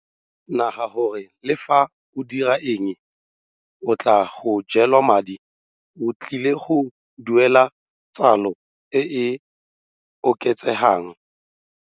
Naga gore le fa o dira eng go tlaa go jela madi o tlile go duela tsalo e e oketsegang.